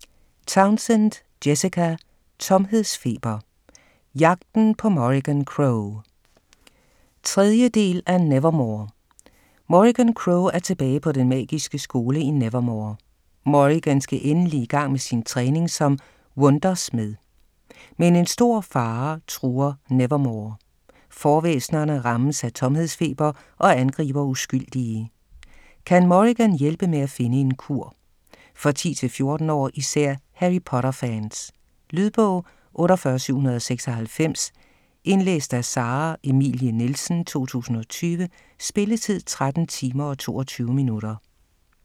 Townsend, Jessica: Tomhedsfeber: jagten på Morrigan Crow 3. del af Nevermoor. Morrigan Crow er tilbage på den magiske skole i Nevermoor. Morrigan skal endelig i gang med sin træning som Wundersmed. Men en stor fare truer Nevermoor. Forvæsnerne rammes af tomhedsfeber og angriber uskyldige. Kan Morrigan hjælpe med et finde en kur? For 10 - 14 år - især Harry Potter-fans. Lydbog 48796 Indlæst af Sara Emilie Nielsen, 2020. Spilletid: 13 timer, 22 minutter.